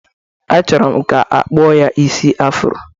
Achọrọ m ka a kpụọ ya isi afro.